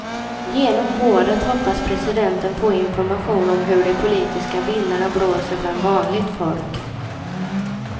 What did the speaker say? Genom rådet hoppas presidenten få information om hur de politiska vindarna blåser bland vanligt folk.